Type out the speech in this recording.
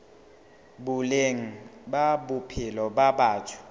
boleng ba bophelo ba batho